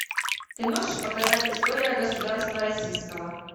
ты можешь показать история государства российского